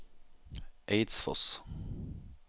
Eidsfoss